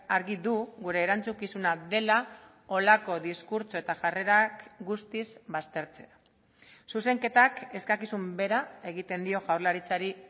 argi du gure erantzukizuna dela holako diskurtso eta jarrerak guztiz baztertzea zuzenketak eskakizun bera egiten dio jaurlaritzari